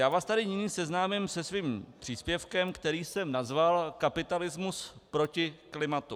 Já vás tady nyní seznámím se svým příspěvkem, který jsem nazval Kapitalismus proti klimatu.